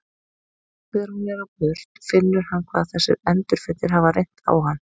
Nú þegar hún er á burt finnur hann hvað þessir endurfundir hafa reynt á hann.